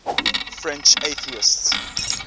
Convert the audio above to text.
french atheists